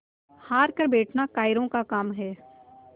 हार कर बैठना कायरों का काम है